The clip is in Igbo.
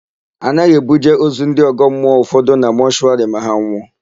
A naghị ebuje ozu ndị ọgọmmụọ ụfọdụ na mọshụwarị ma ha nwụọ.